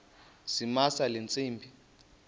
zamisa le ntsimbi